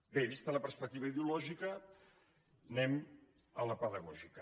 bé vista la perspectiva ideològica anem a la pedagògica